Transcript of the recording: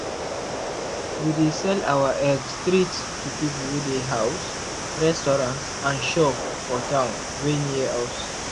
we dey sell our egg straight to people wey dey house restaurants and shop for town wey near us.